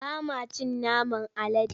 Ba ma cin naman alade.